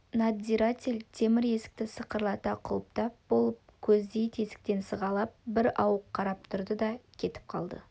надзиратель темір есікті сақырлата құлыптап болып көздей тесіктен сығалап бірауық қарап тұрды да кетіп қалды